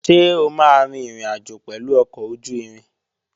Ṣé o máa rin ìrìnàjò pẹ̀lú ọkọ̀ ojú-irin?